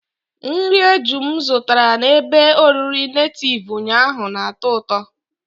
Nri eju m zụtara na ebe oriri nativu ụnyaahụ na-atọ ụtọ.